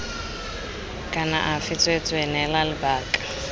kana afe tsweetswee neela lebaka